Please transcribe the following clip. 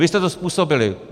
Vy jste to způsobili!